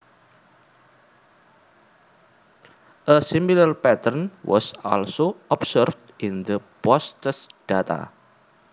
A similar pattern was also observed in the posttest data